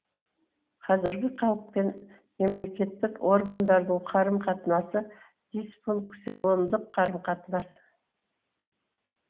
қазіргі халық пен мемлекеттік органдардың қарым қатынасы дисфункционалдық қарым қатынас